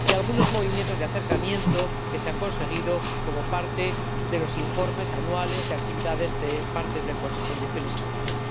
Y hay algunos movimientos de acercamiento que se han conseguido como parte de los informes anuales de actividades de partes del Consejo —direcciones generales—.